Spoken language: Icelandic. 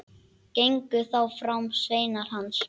Gengu þá fram sveinar hans.